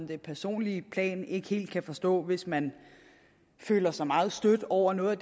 det personlige plan ikke helt kan forstå hvis man føler sig meget stødt over noget